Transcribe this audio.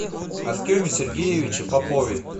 артеме сергеевиче попове